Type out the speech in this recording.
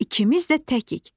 İkimiz də təkik.